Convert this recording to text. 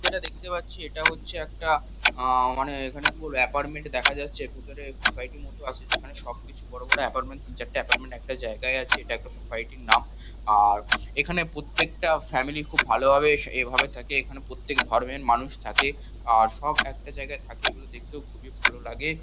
যেটা দেখতে পাচ্ছি এটা হচ্ছে একটা আ-আ মানে এখানে কি বলবো এপার্টমেন্ট দেখা যাচ্ছে। ভিতরে সোসাইটি মতো আছে যেখানে সব কিছু বড় বড় এপার্টমেন্ট তিন চারটে এপার্টমেন্ট একটা জায়গায় আছে। এটা একটা সোসাইটি -র নাম । আর এখানে প্রত্যেকটা ফ্যামিলি খুব ভালোভাবে এস এভাবে থাকে এখানে প্রত্যেক ধর্মের মানুষ থাকে আর সব একটা জায়গায় থাকে এগুলো দেখতেও খুবই ভালো লাগে।